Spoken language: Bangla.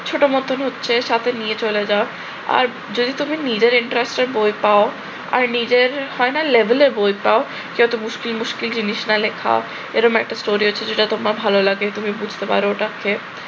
ছোট মত হচ্ছে সাথে নিয়ে চলে যাও, আর যদি নিজের interest এর বই পাও আর নিজের হয় না level এ বই পাও যত মুশকিল মুশকিল জিনিস না লেখা এরকম একটা চরিত্র যেটা তোমার ভাল লাগে তুমি বুঝতে পারো ওটাকে